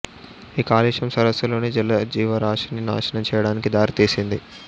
ఈ కాలుష్యం సరస్సులోని జల జీవరాశిని నాశనం చేయడానికి దారితీసింది